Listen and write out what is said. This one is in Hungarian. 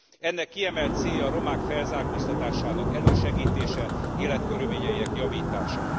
Ennek kiemelt célja a romák felzárkóztatásának elősegítése, életkörülményeinek javítása.